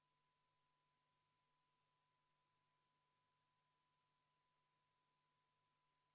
Ütlesin seda enne, kui me vaheajale läksime, et selle esitas Sotsiaaldemokraatliku Erakonna fraktsioon ja juhtivkomisjoni ettepanek oli jätta see arvestamata, aga ütlen uuesti.